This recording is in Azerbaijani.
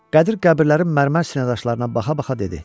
Qədir qəbirlərin mərmər sinədaşlarına baxa-baxa dedi: